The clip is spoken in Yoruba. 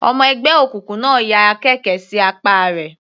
Ọmọ ẹgbẹ́ òkùnkùn náà ya àkekè sí apá rẹ̀.